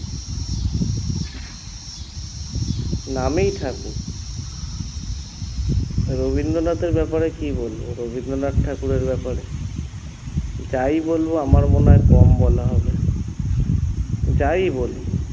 নামেই ঠাকুর রবিন্দ্রনাথের ব্যপারে কী বলবো রবিন্দ্রনাথ ঠাকুরের ব্যপারে? যাই বলবো আমার মনে হয় কম বলা হবে যাই বলি